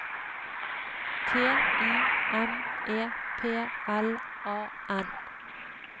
T I M E P L A N